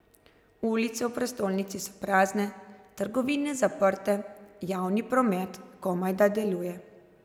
Ulice v prestolnici so prazne, trgovine zaprte, javni promet komajda deluje.